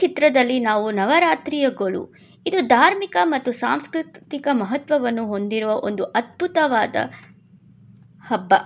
ಚಿತ್ರದಲ್ಲಿ ನಾವು ನವರಾತ್ರಿಗಳು ಇದು ಧಾರ್ಮಿಕ ಮತ್ತು ಸಾಂಸ್ಕೃತಿಕ ಮಹತ್ವವನ್ನು ಹೊಂದಿರುವ ಒಂದು ಅದ್ಭುತವಾದ ಹಬ್ಬ.